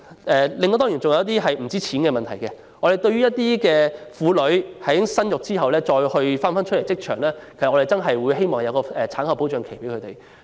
還有一些不僅關乎金錢的問題，例如對於婦女在生育後重投職場，我們希望可設立一段產後保障期。